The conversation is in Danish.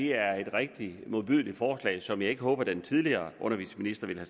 er et rigtig modbydeligt forslag som jeg ikke håber at den tidligere undervisningsminister ville